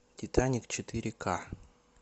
титаник четыре ка